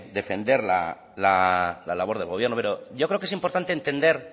defender la labor del gobierno pero yo creo que es importante entender